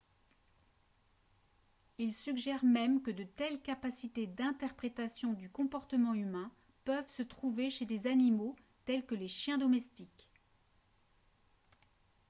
il suggère même que de telles capacités d'interprétation du comportement humain peuvent se trouver chez des animaux tels que les chiens domestiques